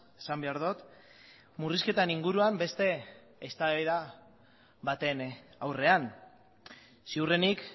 esan behar dut murrizketan inguruan beste eztabaida baten aurrean ziurrenik